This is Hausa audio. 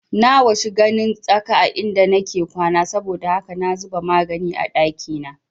Na washi ganin tsaka a inda nake kwana saboda haka na zuba magani a ɗakina